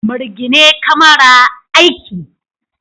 Mirgine kamara, Aiki!